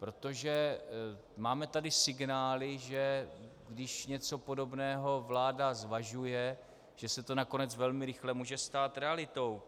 Protože máme tady signály, že když něco podobného vláda zvažuje, že se to nakonec velmi rychle může stát realitou.